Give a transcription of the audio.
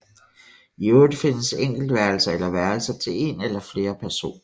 I øvrigt findes enkeltværelser eller værelser til en eller flere personer